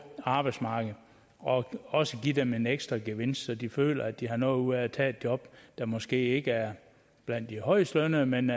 arbejdsmarkedet og også give dem en ekstra gevinst så de føler at de har noget ud af at tage et job der måske ikke er blandt de højestbetalte men